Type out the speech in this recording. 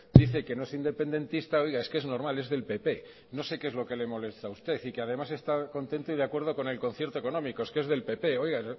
dice que no es independentista oiga es que es normal es del pp no sé que es lo que le molesta a usted y que además está contento y de acuerdo con el concierto económico es que es del pp oiga